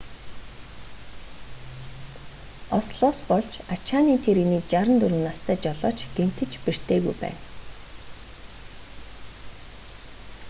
ослоос болж ачааны тэрэгний 64 настай жолооч гэмтэж бэртээгүй байна